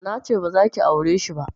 Nace bazaki aureshi ba